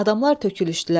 Adamlar tökülüşdülər.